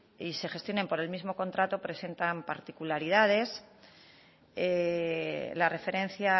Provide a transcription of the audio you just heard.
y se gestionen por el mismo contrato presentan particularidades la referencia